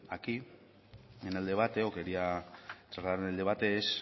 aquí en el debate o quería sacar en el debate es